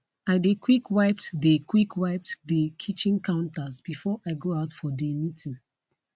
i dey quick wiped dey quick wiped dey kitchen counters before i go out for dey meeting